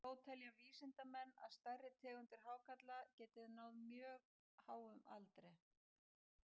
Þó telja vísindamenn að stærri tegundir hákarla geti náð mjög háum aldri.